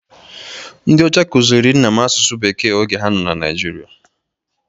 Ndị ọcha kụziri nna m asụsụ Bekee oge ha nọ na Naịjirịa.